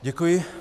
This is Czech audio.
Děkuji.